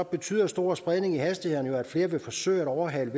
betyder stor spredning i hastighederne at flere vil forsøge at overhale